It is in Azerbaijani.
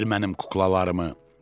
Ver mənim kuklalarımı!